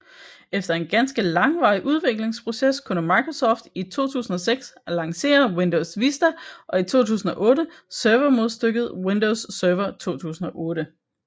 Efter en ganske langvarig udviklingsproces kunne Microsoft i 2006 lancere Windows Vista og i 2008 servermodstykket Windows Server 2008